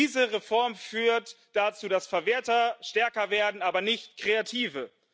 Diese Reform führt dazu, dass Verwerter stärker werden, aber nicht Kreative.